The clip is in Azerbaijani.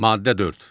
Maddə 4.